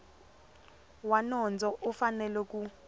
wa nondzo u fanele ku